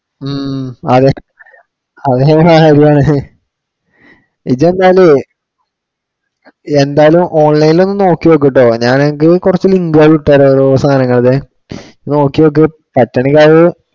ഉം ആരാ അവരെങ്ങനാണ് ready ആവണത്? ഇജ്ജ് എന്നാലേ എന്തായാലും online ഇൽ ഒന്ന് നോക്കി നോക്കൂട്ടോ. ഞാൻ എന്തായാലും കുറച്ചു link ഉകൾ ഇട്ടു തരാം ഓരോ സാധനങ്ങളുടെ നോക്കി നോക്ക്. പറ്റുവാണെങ്കിൽ അത്